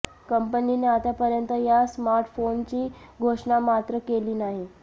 कंपनीने आतापर्यंत या स्मार्टफोनची घोषणा मात्र केली नाही